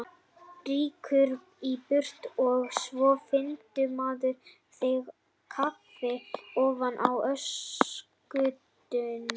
Rýkur í burtu og svo finnur maður þig á kafi ofan í öskutunnu!